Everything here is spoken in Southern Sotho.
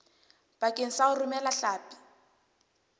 bakeng sa ho romela hlapi